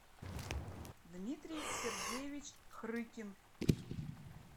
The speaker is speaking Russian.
дмитрий сергеевич хрыкин